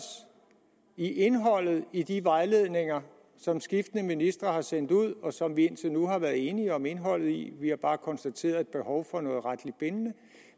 i indholdet i de vejledninger som skiftende ministre har sendt ud og som vi indtil nu har været enige om indholdet i vi har bare konstateret et behov for noget retligt bindende